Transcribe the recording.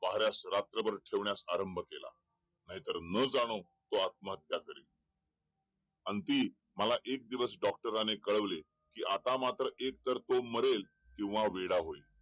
पहाऱ्यास रात्रभर ठेवण्यास आरंभ केला नाहीतर न जाणो तो आत्महत्या करेल अंती आता मला एक दिवस डॉक्टरांनी कळवले आता मात्र तो मरेल किंवा वेडा होईल